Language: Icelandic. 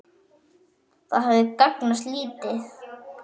Það hefði gagnast lítið.